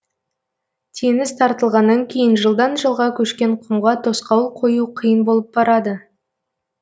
теңіз тартылғаннан кейін жылдан жылға көшкен құмға тосқауыл қою қиын болып барады